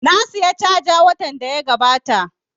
Na saya caja watan da ya gabata